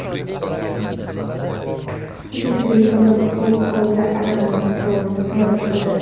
Uchrashuvdagi yagona golga Adama Traore mualliflik qildi.